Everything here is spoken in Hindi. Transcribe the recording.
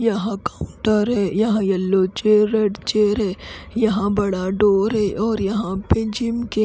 यहां काउंटर है यहाँ येल्लो चेयर रेड चेयर है यहाँ बड़ा डोर है और यहाँ पे जिम के--